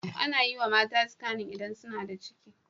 Anayiwa mata skanin idan suna da ciki